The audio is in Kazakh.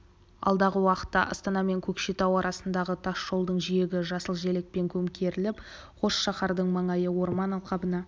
алдағы уақытта астана мен көкшетау арасындағы тасжолдың жиегі жасыл желекпен көмкеріліп қос шаһардың маңайы орман алқабына